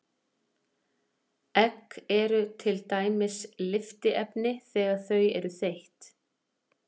Egg eru til dæmis lyftiefni þegar þau eru þeytt.